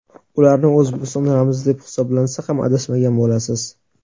Ularni O‘zbekiston ramzi deb hisoblansa ham adashmagan bo‘lasiz.